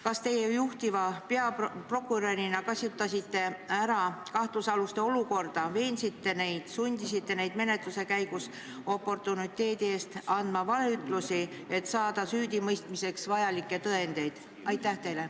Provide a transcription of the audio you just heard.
Kas teie juhtiva peaprokurörina kasutasite ära kahtlusaluste olukorda, veeniste neid, sundisite neid menetluse käigus oportuniteedi eest andma valeütlusi, et saada süüdimõistmiseks vajalikke tõendeid?